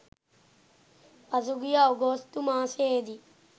පසුගිය අගෝස්තු මාසයේදී